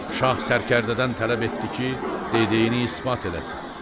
Şah Sərkərdədən tələb etdi ki, dediyini isbat eləsin.